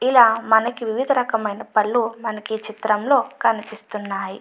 ఇలా మనకి వివిధ రకమైన మూలైన పళ్ళు మనకి ఈ చిత్రంలో కనిపిస్తూ ఉన్నాయి.